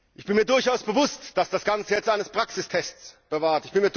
Ich bin mir durchaus bewusst, dass das Ganze jetzt eines Praxistests bedarf.